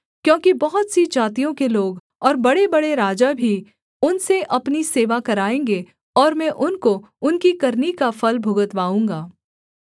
क्योंकि बहुत सी जातियों के लोग और बड़ेबड़े राजा भी उनसे अपनी सेवा कराएँगे और मैं उनको उनकी करनी का फल भुगतवाऊँगा